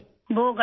وہ گٹھیا